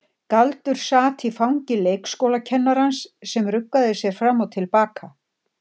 Galdur sat í fangi leikskólakennarans sem ruggaði sér fram og til baka.